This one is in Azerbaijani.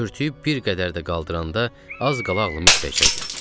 Örtüyüb bir qədər də qaldıranda az qala ağlımı itirəcəkdim.